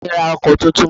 Àǹtí mi ra ọkọ̀ tuntun